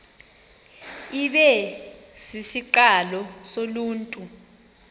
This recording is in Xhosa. ibe sisiqalo soluntu